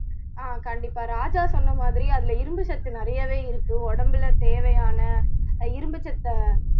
ஆஹ் கண்டிப்பா ராஜா சொன்ன மாதிரி அதுல இரும்பு சத்து நிறையவே இருக்கு உடம்புல தேவையான இரும்பு சத்தை